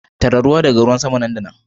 Tara ruwa daga ruwan sama nan da nan.